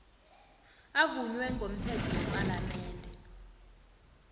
avunywe ngomthetho wepalamende